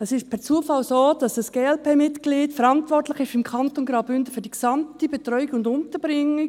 Es ist zufällig so, dass ein Glp-Mitglied im Kanton Graubünden verantwortlich ist für die gesamte Betreuung und Unterbringung.